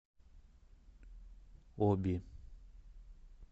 оби